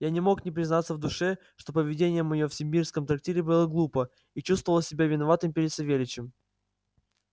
я не мог не признаться в душе что поведение моё в симбирском трактире было глупо и чувствовал себя виноватым перед савельичем